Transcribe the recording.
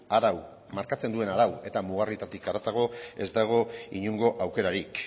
arau markatzen duen arau eta mugarrietatik haratago ez dago inongo aukerarik